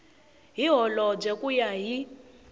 hi holobye ku ya hi